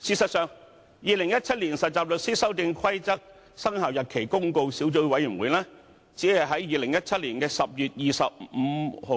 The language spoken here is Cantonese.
事實上，《〈2017年實習律師規則〉公告》小組委員會只是在2017年10月25